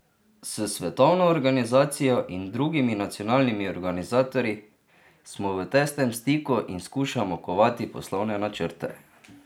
S svetovno organizacijo in drugimi nacionalnimi organizatorji smo v tesnem stiku in skušamo kovati poslovne načrte.